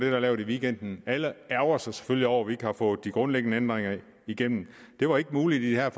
er lavet i weekenden alle ærgrer sig selvfølgelig over at vi ikke har fået de grundlæggende ændringer igennem det var ikke muligt i de her